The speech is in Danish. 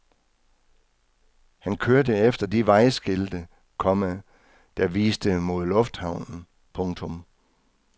Han kørte efter de vejskilte, komma der viste mod lufthavnen. punktum